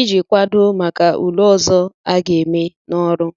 iji kwadoo maka ule ọzọ a ga-eme n'ọrụ